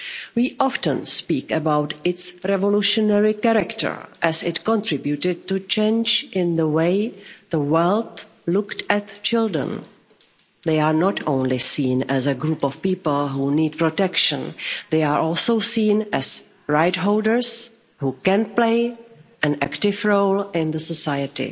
We often speak about its revolutionary character, as it contributed to change in the way the world looked at children. They are not only seen as a group of people who need protection. They are also seen as rights holders who can play an active role in society.